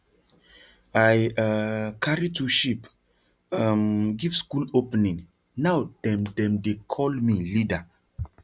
i um carry two sheep um give school opening now dem dem dey call me leader